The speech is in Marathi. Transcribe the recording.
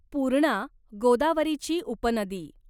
पूर्णा गोदावरीची उपनदी